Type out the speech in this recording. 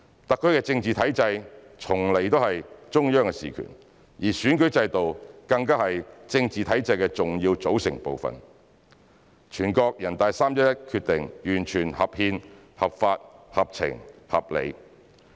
特區的政治體制從來都是中央事權，而選舉制度更加是政治體制的重要組成部分，全國人大的《決定》完全合憲、合法、合情、合理。